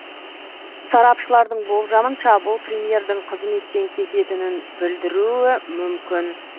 сарапшылардың болжамынша бұл премьердің қызметтен кететінін білдіруі мүмкін